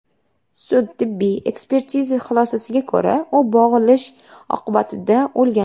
Sud-tibbiy ekspertiza xulosasiga ko‘ra, u bo‘g‘ilish oqibatida o‘lgan.